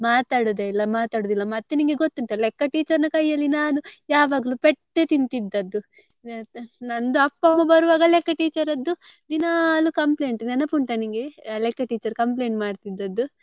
ಮಾತಾಡುದೆ ಇಲ್ಲ ಮಾತಾಡುದೆ ಇಲ್ಲ ಮತ್ತೆ ನಿಂಗೆ ಗೊತ್ತುಂಟಾ ಅಲ್ಲ ಲೆಕ್ಕ teacher ನ ಕೈಯಲ್ಲಿ ನಾನು ಯಾವಾಗ್ಲೂ ಪೆಟ್ಟೆ ತಿಂತಿದದ್ದು ನಂದು ಅಪ್ಪ ಅಮ್ಮ ಬರುವಾಗ ಲೆಕ್ಕ teacher ದ್ದು ದಿನಾಲು complaint ನೆನಪುಂಟಾ ನಿಂಗೆ ಲೆಕ್ಕ teacher complaint ಮಾಡ್ತಿದದ್ದು.